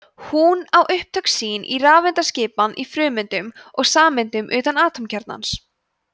hún á upptök sín í rafeindaskipan í frumeindum og sameindum utan atómkjarnans